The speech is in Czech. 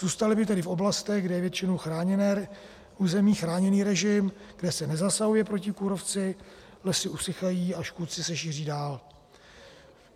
Zůstaly by tedy v oblastech, kde je většinou chráněné území, chráněný režim, kde se nezasahuje proti kůrovci, lesy usychají a škůdci se šíří dál.